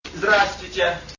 здравствуйте